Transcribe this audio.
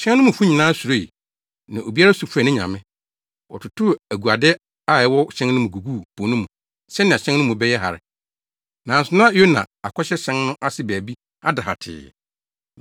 Hyɛn no mufo no nyinaa suroe, na obiara su frɛɛ ne nyame. Wɔtotoo aguade a ɛwɔ hyɛn no mu guguu po no mu sɛnea hyɛn no mu bɛyɛ hare. Nanso na Yona akɔhyɛ hyɛn no ase baabi ada hatee.